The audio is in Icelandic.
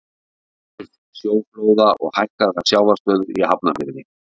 áhrif sjóflóða og hækkaðrar sjávarstöðu í hafnarfirði